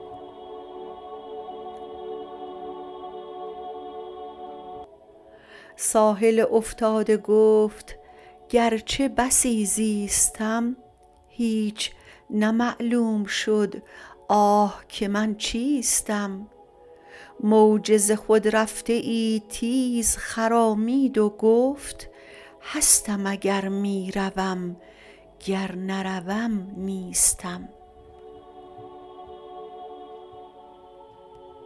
ساحل افتاده گفت گرچه بسی زیستم هیچ نه معلوم شد آه که من چیستم موج ز خود رفته ای تیز خرامید و گفت هستم اگر می روم گر نروم نیستم